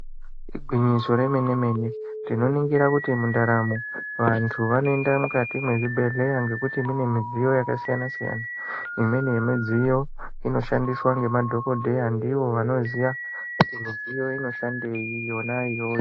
Igwinyiso remenemene ,tinoringira kuti muntaramo vantu vanoenda mukati mezvibhedleya ngekuti munemidziyo yakasiyana siyana ,imweni yemidziyo inoshandiswa nemadhogodheya ndivo vanoziva kuti midziyo inoshandeyi yona.